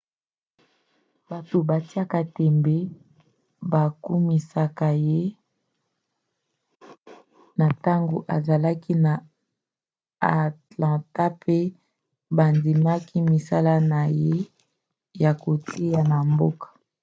bato batiaka tembe bakumisaka ye na ntango azalaki na atlanta mpe bandimaki misala na ye ya koteya na mboka